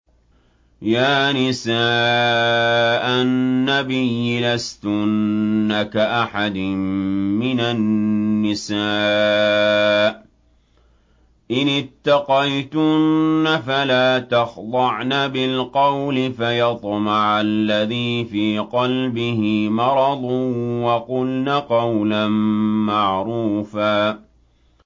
يَا نِسَاءَ النَّبِيِّ لَسْتُنَّ كَأَحَدٍ مِّنَ النِّسَاءِ ۚ إِنِ اتَّقَيْتُنَّ فَلَا تَخْضَعْنَ بِالْقَوْلِ فَيَطْمَعَ الَّذِي فِي قَلْبِهِ مَرَضٌ وَقُلْنَ قَوْلًا مَّعْرُوفًا